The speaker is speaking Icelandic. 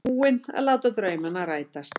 Búinn að láta draumana rætast.